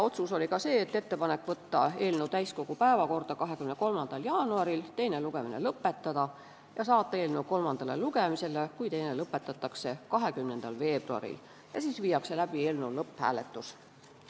Otsus oli ka teha ettepanek saata eelnõu täiskogu päevakorda 23. jaanuariks, teine lugemine lõpetada ja saata eelnõu kolmandale lugemisele, kui teine lõpetatakse, 20.veebruariks, siis viiakse läbi eelnõu lõpphääletus.